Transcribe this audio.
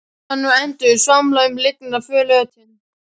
Svanir og endur svamla um lygnan flötinn.